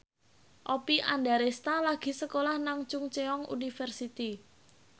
Oppie Andaresta lagi sekolah nang Chungceong University